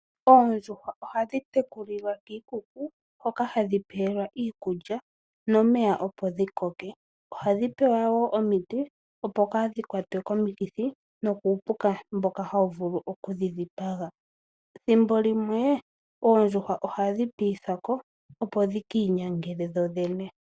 Oondjuhwa ohadhi tekulilwa kiikuku hoka hadhi pelwa iikulya nomeya opo dhi koke. Ohadhi pewa wo omiti opo kadhi kwatwe komikithi nokuupuka mboka hawu vulu oku dhi dhipaga. Thimbolimwe oondjuhwa ohadhi pitithwa ko opo dhi ki inyangele dhodhene.